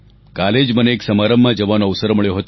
કાલે જ મને એક સમારંભમાં જવાનો અવસર મળ્યો હતો